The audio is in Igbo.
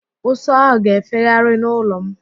Ụsụ áhụ̀ ga-efegharị n'ụlọ m.